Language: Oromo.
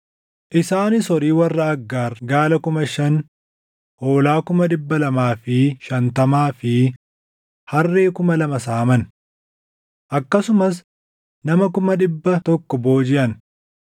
Isaanis horii warra Aggaar gaala kuma shan, hoolaa kuma dhibba lamaa fi shantamaa fi harree kuma lama saaman. Akkasumas nama kuma dhibba tokkoo boojiʼan;